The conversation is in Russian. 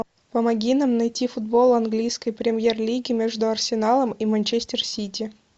помоги нам найти футбол английской премьер лиги между арсеналом и манчестер сити